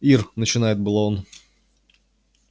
ир начинает было он